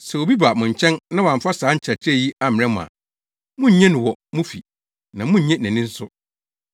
Sɛ obi ba mo nkyɛn na wamfa saa nkyerɛkyerɛ yi ammrɛ mo a, munnnye no wɔ mo fi na munnnye nʼani nso.